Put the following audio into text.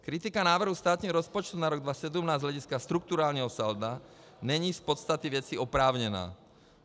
Kritika návrhu státního rozpočtu na rok 2017 z hlediska strukturálního salda není z podstaty věci oprávněná.